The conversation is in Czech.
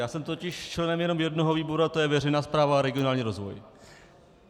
Já jsem totiž členem jenom jednoho výboru a to je veřejná správa a regionální rozvoj.